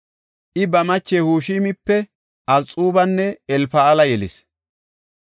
I ba mache Hushimipe, Abixubanne Elfa7aala yelis.